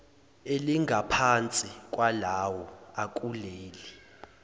elingaphansi kwalawo akuleli